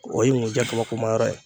O ye nkunjɛ kabakoma yɔrɔ ye.